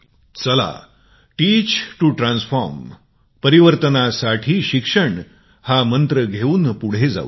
चला परिवर्तनासाठी शिकण्याचा मंत्र घेऊन पुढे जाऊ या